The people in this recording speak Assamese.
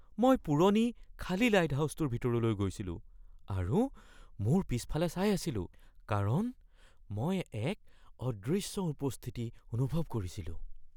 মই পুৰণি খালী লাইটহাউচৰ ভিতৰলৈ গৈছিলো আৰু মোৰ পিছফালে চাই আছিলো কাৰণ মই এক অদৃশ্য উপস্থিতি অনুভৱ কৰিছিলো।